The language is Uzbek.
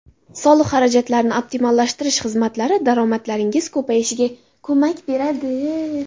Soliq xarajatlarini optimallashtirish xizmatlari daromadlaringiz ko‘payishiga ko‘mak beradi.